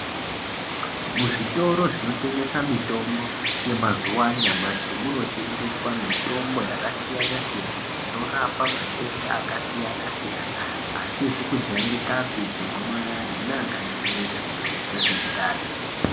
Muzvitoro zvinotengesa mitombo yemazuwa anyamashi munetengeswa mitombo yakasiyanasiyana inorapa matenda akasiyanasiyana asizi kujairikapi segomarara neakajairika zvakangoita semundani .